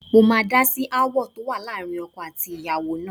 Mo máa dá sí aáwọ̀ tó wà láàrin ọkọ àti ìyàwó náà